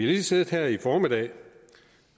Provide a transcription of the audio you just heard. lige siddet her i formiddag